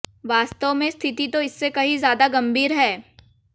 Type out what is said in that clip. वास्तव में स्थिति तो इससे कहीं ज्यादा गंभीर है